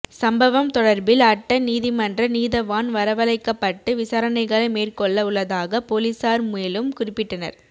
சம்பவம் தொடர்பில் அட்டன் நீதிமன்ற நீதவான் வரவலைக்கபட்டு விசாரனைகளை மேற்கொள்ள உள்ளதாக பொலிஸார் மேலும் குறிப்பிட்டனர்